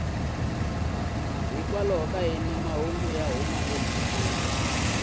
ya mahungu ya huma emhakeni